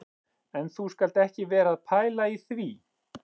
En þú skalt ekki vera að pæla í því